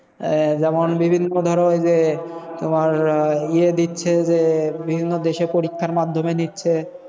আহ যেমন বিভিন্ন ধরো ওই যে, তোমার আহ ইয়ে দিচ্ছে যে বিভিন্ন দেশে পরীক্ষার মাধ্যমে নিচ্ছে।